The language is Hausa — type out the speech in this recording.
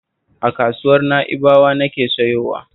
A kasuwar Na'ibawa nake sayowa